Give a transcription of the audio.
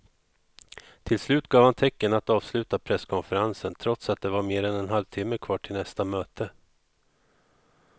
Till slut gav han tecken att avsluta presskonferensen trots att det var mer än en halvtimme kvar till nästa möte.